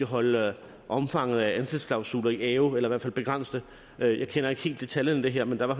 holde omfanget af ansættelsesklausuler i ave eller i hvert fald begrænse det jeg kender ikke helt detaljerne i det her men der er